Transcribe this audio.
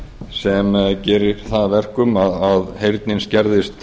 sem gerir það að verkum að heyrnin skerðist